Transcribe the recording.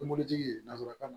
Mobilitigi ye nansarakan na